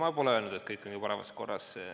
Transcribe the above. Ei, ma pole öelnud, et kõik on parimas korras.